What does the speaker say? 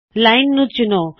line ਨੂੰ ਚੁਣੋ